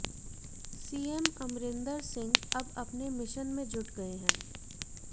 CM Amarinder Singh अब अपने mission में जुट गए हैं